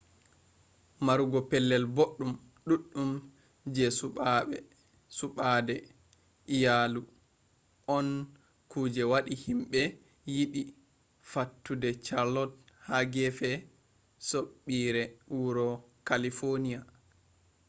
marugo pellel boɗɗum ɗuɗɗum je suɓaade iyalu on ku je waɗi himɓe yiɗi fattude chalot ha gefe soɓɓiire wuro kalifoniya